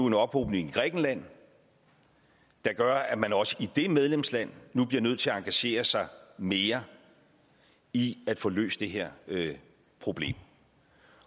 en ophobning i grækenland der gør at man også i det medlemsland nu bliver nødt til at engagere sig mere i at få løst det her problem